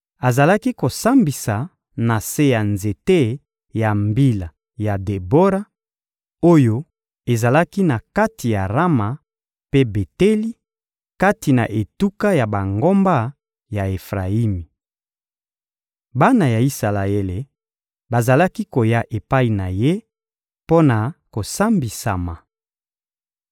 Azalaki kosambisa na se ya nzete ya mbila ya Debora, oyo ezalaki na kati ya Rama mpe Beteli, kati na etuka ya bangomba ya Efrayimi. Bana ya Isalaele bazalaki koya epai na ye mpo na kosambisama.